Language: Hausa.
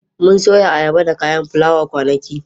Mun soya ayaba da kayan fulawa kwanaki.